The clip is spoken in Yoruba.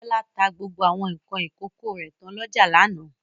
Bọ́lá ta gbogbo àwọn nǹkan ìkókó rẹ̀ tán lọ́jà lánàá.